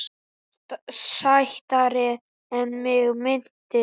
Sætari en mig minnti.